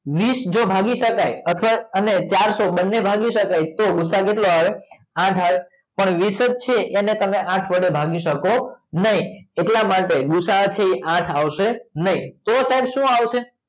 બીજો ભાગી શકાય અથવા ચારસો બંને ભાગી શકાય તો ભૂસા કેટલો આવે આઠ આવે પર વીસ જ છે એને તમે આઠ વડે ભાગી શકો નહીં ભૂસા છે એ આઠ આવશે નહીં તો તારે શું આવશે